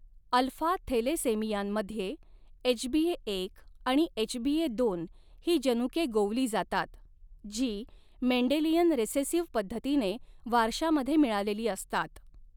Alpha थॅलेसेमियांमध्ये एचबीएएक आणि एचबीएदोन ही जनुके गोवली जातात, जी मेंडेलियन रेसेसिव्ह पद्धतीने वारशामध्ये मिळालेली असतात.